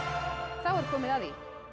þá er komið að því